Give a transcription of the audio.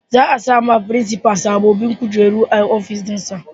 Za a sawa firinsifal sababbin kujeru a ofis dinsa.